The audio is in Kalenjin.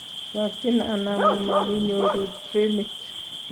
chokchin anan mumakinyoru trenit